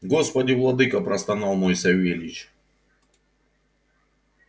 господи владыко простонал мой савельич